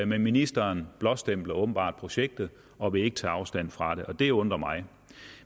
men ministeren blåstempler åbenbart projektet og vil ikke tage afstand fra det og det undrer mig